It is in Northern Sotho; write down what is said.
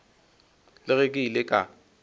le ge ke ile ka